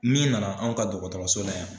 N'i nana anw ka dɔgɔtɔrɔso la yan.